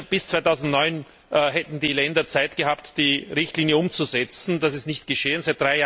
Bis 2009 hätten die Länder Zeit gehabt, die Richtlinie umzusetzen, dass ist nicht geschehen.